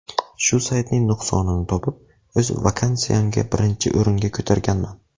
Shu saytning nuqsonini topib, o‘z vakansiyamni birinchi o‘ringa ko‘targanman.